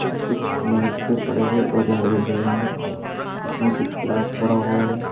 और कुछ मेज पे पड़े हुए औजार दिख रहे हैं जिसमें कुछ ग्लास पड़ा हुआ है।